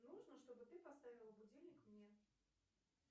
нужно чтобы ты поставил будильник мне